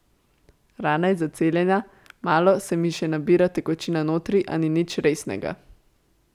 Rana je zaceljena, malo se mi še nabira tekočina notri, a ni nič resnega.